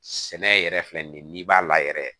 Sɛnɛ yɛrɛ filɛ nin n'i b'a la yɛrɛ